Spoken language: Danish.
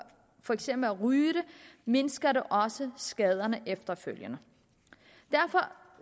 for eksempel at ryge det mindsker det også skaderne efterfølgende derfor